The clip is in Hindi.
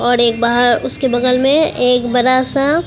औड़ एक बाहर उसके बगल में एक बड़ा सा--